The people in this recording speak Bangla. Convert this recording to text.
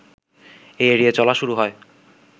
এই ‘এড়িয়ে চলা’ শুরু হয়